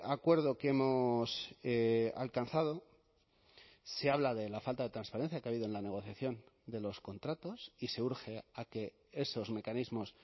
acuerdo que hemos alcanzado se habla de la falta de transparencia que ha habido en la negociación de los contratos y se urge a que esos mecanismos